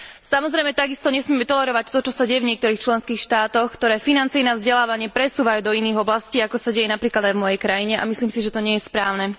Samozrejme takisto nesmieme tolerovať to, čo sa deje v niektorých členských štátoch, ktoré financie na vzdelávanie presúvajú do iných oblastí, ako sa deje napríklad aj v mojej krajine, a myslím si, že to nie je správne.